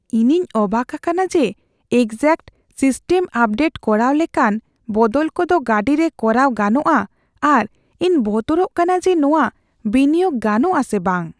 ᱤᱧᱤᱧ ᱚᱵᱟᱠ ᱟᱠᱟᱱᱟ ᱡᱮ ᱮᱠᱡᱟᱥᱴ ᱥᱤᱥᱴᱮᱢ ᱟᱯᱜᱨᱮᱰ ᱠᱚᱨᱟᱣ ᱞᱮᱠᱟᱱ ᱵᱚᱫᱚᱞ ᱠᱚᱫᱚ ᱜᱟᱹᱰᱤᱨᱮ ᱠᱚᱨᱟᱣ ᱜᱟᱱᱚᱜᱼᱟ ᱟᱨ ᱤᱧ ᱵᱚᱛᱚᱨᱚᱜ ᱠᱟᱱᱟ ᱡᱮ ᱱᱚᱶᱟ ᱵᱤᱱᱤᱭᱳᱜ ᱜᱟᱱᱚᱜ ᱟᱥᱮ ᱵᱟᱝ ᱾